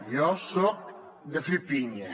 jo soc de fer pinya